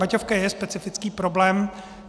Baťovka je specifický problém.